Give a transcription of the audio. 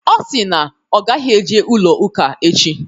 Ọ sịrị na ọ gaghị eje ụlọ ụka echi